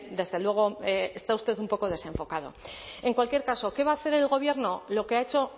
desde luego está usted un poco desenfocado en cualquier caso qué va a hacer el gobierno lo que ha hecho